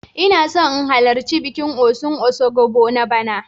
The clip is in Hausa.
Ina so in halarci bikin Osun Osogbo na bana.